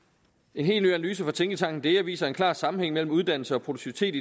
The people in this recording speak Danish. en helt ny analyse fra tænketanken dea viser en klar sammenhæng mellem uddannelse og produktivitet